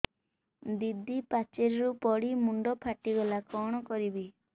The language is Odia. ଦିଦି ପାଚେରୀରୁ ପଡି ମୁଣ୍ଡ ଫାଟିଗଲା କଣ କରିବି